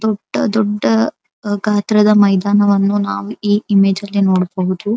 ದೊಡ್ಡದೊಡ್ಡ ಗಾತ್ರದ ಮೈದಾನವನ್ನು ನಾವು ಈ ಇಮೇಜ್ ಅಲ್ಲಿ ನೋಡಬಹುದು.